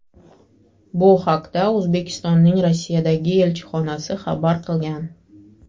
Bu haqda O‘zbekistonning Rossiyadagi elchixonasi xabar qilgan .